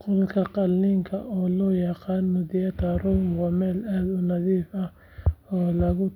Qolka qalliinka oo loo yaqaan theater room waa meel aad u nadiif ah oo loogu